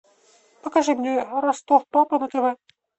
покажи мне ростов папа на тв